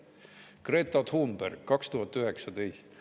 " Greta Thunberg, 2019.